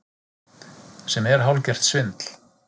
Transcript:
Sem er hálfgert svindl